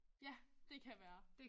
Ja det kan være